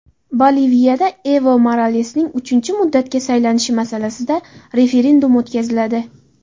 Boliviyada Evo Moralesning uchinchi muddatga saylanishi masalasida referendum o‘tkaziladi.